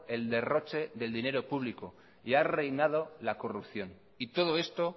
el derroche del dinero público y ha reinado la corrupción y todo esto